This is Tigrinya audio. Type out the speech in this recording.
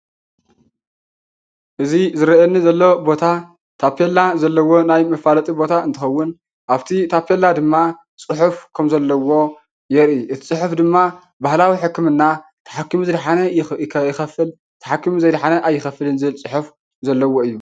እዚ ዝረአየኒ ዘሎ ቦታ ታፔላ ዘለዎ ናይ መፋለጢ ቦታ እንትኸውን ኣብቲ ታፔላ ድማ ፅሑፍ ከምዘለዎ የርኢ። እቲ ፅሑፍ ድማ ባህላዊ ሕክምና ተሓኪሙ ዝደሓነ ይኸፍል፣ ተሓኪሙ ዘይደሓነ ድማ ኣይኸፍልን ዝብል ፅሑፍ ዘለዎ እዩ።